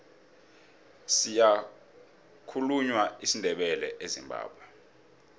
siyakhulunywa isindebele ezimbabwe